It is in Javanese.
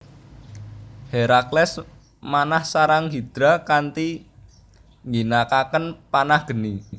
Herakles manah sarang Hidra kanthi ngginakaken panah geni